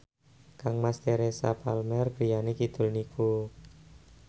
kangmas Teresa Palmer griyane kidul niku